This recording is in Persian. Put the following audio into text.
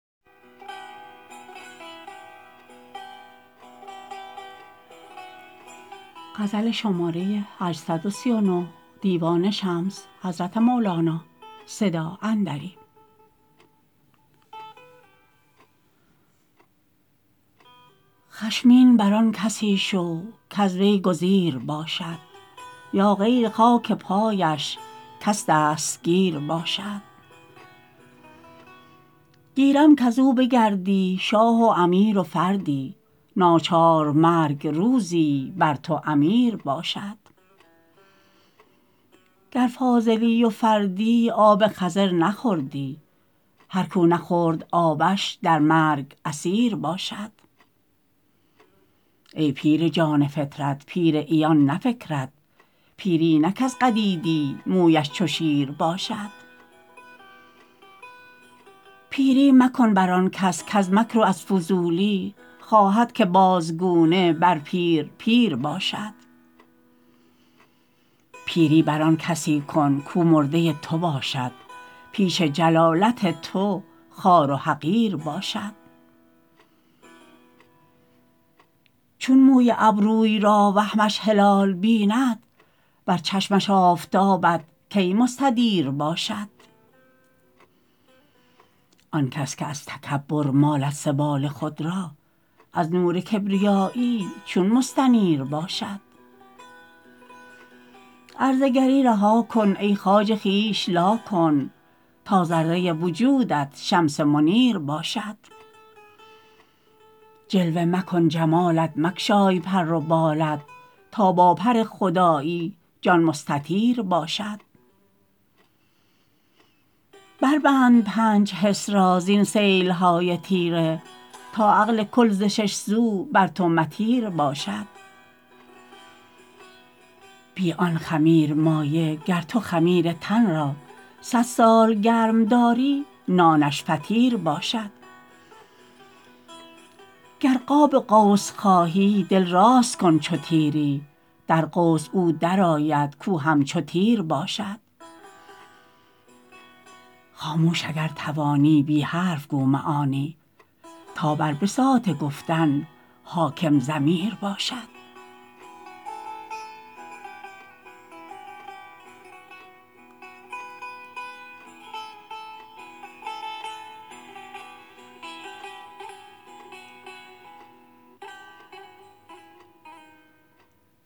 خشمین بر آن کسی شو کز وی گزیر باشد یا غیر خاک پایش کس دستگیر باشد گیرم کز او بگردی شاه و امیر و فردی ناچار مرگ روزی بر تو امیر باشد گر فاضلی و فردی آب خضر نخوردی هر کو نخورد آبش در مرگ اسیر باشد ای پیر جان فطرت پیر عیان نه فکرت پیری نه کز قدیدی مویش چو شیر باشد پیری مکن بر آن کس کز مکر و از فضولی خواهد که بازگونه بر پیر پیر باشد پیری بر آن کسی کن کو مرده تو باشد پیش جلالت تو خوار و حقیر باشد چون موی ابروی را وهمش هلال بیند بر چشمش آفتابت کی مستدیر باشد آن کس که از تکبر مالد سبال خود را از نور کبریایی چون مستنیر باشد عرضه گری رها کن ای خواجه خویش لا کن تا ذره وجودت شمس منیر باشد جلوه مکن جمالت مگشای پر و بالت تا با پر خدایی جان مستطیر باشد بربند پنج حس را زین سیل های تیره تا عقل کل ز شش سو بر تو مطیر باشد بی آن خمیرمایه گر تو خمیر تن را صد سال گرم داری نانش فطیر باشد گر قاب قوس خواهی دل راست کن چو تیری در قوس او درآید کو همچو تیر باشد خاموش اگر توانی بی حرف گو معانی تا بر بساط گفتن حاکم ضمیر باشد